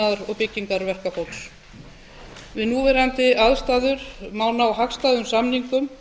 iðnaðar og byggingarverkafólks við núverandi aðstæður má ná hagstæðum samningum